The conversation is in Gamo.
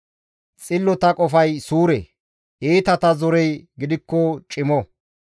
Xillota qofay suure; iitata zorey gidikko cimo.